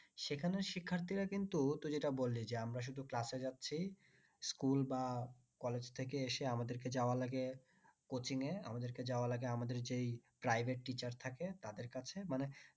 সেখানে শিক্ষার্থীরা কিন্তু তুই যেটা বললি যে আমরা শুধু Class এ যাচ্ছি school বা college থেকে এসে আমাদেরকে যাওয়া লাগে Coaching আমাদের যাওয়া লাগে আমাদের যেই Private teacher থাকে তাদের কাছে মানে